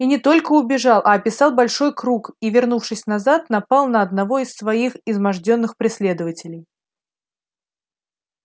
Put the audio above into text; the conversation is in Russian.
и не только убежал а описал большой круг и вернувшись назад напал на одного из своих измождённых преследователей